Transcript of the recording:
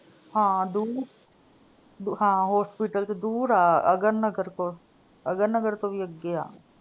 ਹਾਂ ਦੂਰ, ਹਾਂ hospital ਚ ਦੂਰ ਆ। ਅਗਰ ਨਗਰ ਕੋਲ, ਅਗਰ ਨਗਰ ਤੋਂ ਵੀ ਅੱਗੇ ਆ।